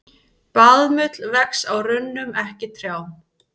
Baðmull vex á runnum, ekki trjám.